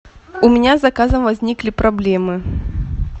у меня с заказом возникли проблемы